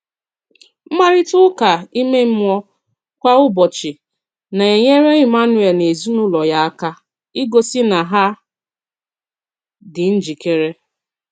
Mkparịta ụka ime mmụọ kwa ụbọchị nā-enyere Emmanuel na ezinụlọ ya aka ‘igosi na ha dị njikere.’